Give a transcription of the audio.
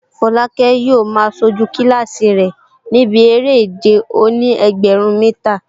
Folake yóò máa sojú kílásì rẹ̀ níbi eré ìje òní-ẹgbẹ̀rún mítà